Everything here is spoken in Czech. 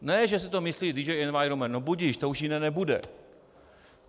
Ne, že si to myslí DG Environment, no budiž, to už jiné nebude.